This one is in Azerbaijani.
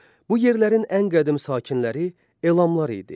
Bu yerlərin ən qədim sakinləri elamlar idi.